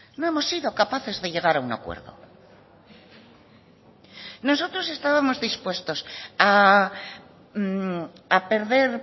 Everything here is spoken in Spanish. no hemos sido capaces de llegar a un acuerdo nosotros estábamos dispuestos a perder